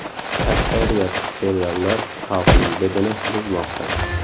Aksariyat seriallar xalqning didini buzmoqda.